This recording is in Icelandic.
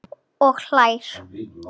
Og hlær.